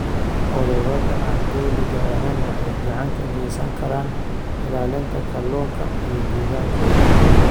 Ururada aan dowliga ahayn waxay gacan ka geysan karaan ilaalinta kalluunka iyo deegaankooda.